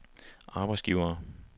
arbejdsgivere